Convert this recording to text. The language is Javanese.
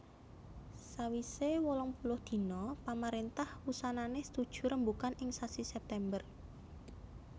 Sawisé wolungpuluh dina pamaréntah wusanané setuju rembugan ing sasi September